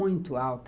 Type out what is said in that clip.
Muito alta.